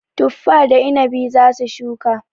Tuffa da inabi za su shuka.